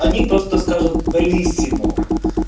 они просто скажут белиссимо